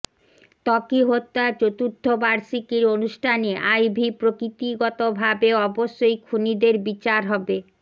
ত্বকী হত্যার চতুর্থ বার্ষিকীর অনুষ্ঠানে আইভী প্রকৃতিগতভাবে অবশ্যই খুনিদের বিচার হবে